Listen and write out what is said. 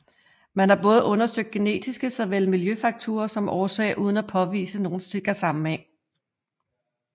Man har både undersøgt genetiske såvel miljøfaktorer som årsag uden at påvise nogen sikker sammenhæng